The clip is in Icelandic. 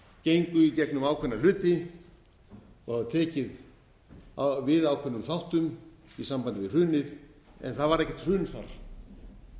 gengu í gegnum ákveðna hluti og hafa tekið við ákveðnum þáttum í sambandi við hrunið en það varð ekkert hrun þar